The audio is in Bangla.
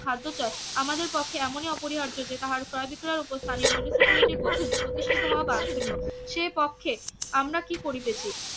খাদ্যচয় আমাদের পক্ষে এমনই অপরিহার্য যে তাহার ক্রয় বিক্রয় ওপর স্থানীয় মিউনিসিপ্যালিটি কর্তৃত্ব প্রতিষ্ঠিত হওয়া বাঞ্ছনীয় সেপক্ষে আমরা কি করিতেছি